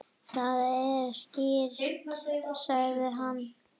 Það er skrýtið sagði hann.